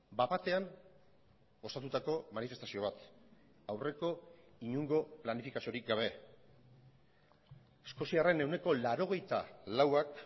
bat batean osatutako manifestazio bat aurreko inongo planifikaziorik gabe eskoziarren ehuneko laurogeita lauak